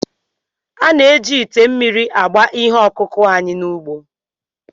A na-eji ite mmiri agba ihe ọkụkụ anyị n'ugbo